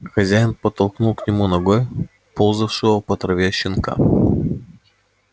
хозяин подтолкнул к нему ногой ползавшего по траве щенка